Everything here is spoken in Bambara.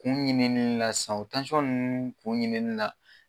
Kun ɲinini la san o nn kun ɲinini la